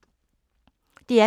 DR P2